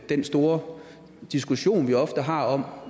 den store diskussion vi ofte har om